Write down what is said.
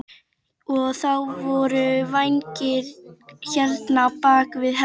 Og þá voru vængir hérna, bak við hendurnar.